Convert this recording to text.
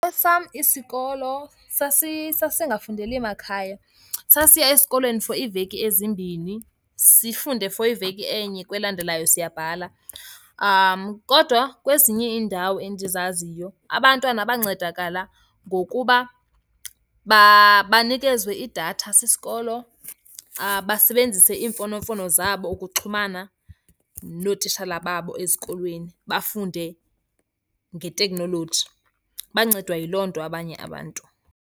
Esam isikolo sasingafundeli makhaya. Sasiya esikolweni for iiveki ezimbini, sifunde for iveki enye kwelandelayo siyabhala. Kodwa kwezinye iindawo endizaziyo abantwana bancedakala ngokuba banikezwe idatha sisikolo, basebenzise iimfonomfono zabo ukuxhumana nootitshalababo ezikolweni, bafunde ngeteknoloji. Bancedwa yiloo nto abanye abantu.